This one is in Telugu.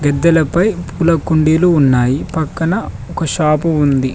మిద్దలపై పూల కుండీలు ఉన్నాయి పక్కన ఒక షాపు ఉంది.